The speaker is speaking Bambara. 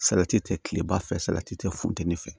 Salati tɛ kileba fɛ salati tɛ funteni fɛ